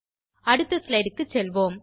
அடுத்த ஸ்லைடு க்கு செல்வோம்